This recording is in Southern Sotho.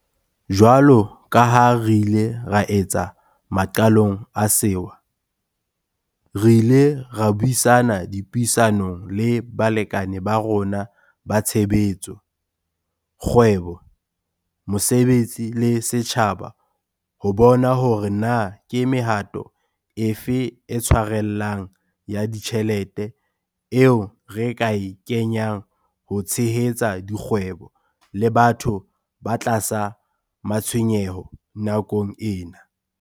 Jwalo ka ha re ile ra etsa maqalong a sewa, re ile ra buisana dipuisanong le balekane ba rona ba tshebetso, kgwebo, mosebetsi le setjhaba ho bona hore na ke mehato e fe e tshwarellang ya ditjhelete eo re ka e kenyang ho tshehetsa dikgwebo le batho ba tlasa matshwenyeho nakong ena.